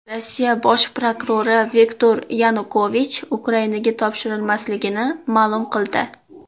Rossiya bosh prokurori Viktor Yanukovich Ukrainaga topshirilmasligini ma’lum qildi.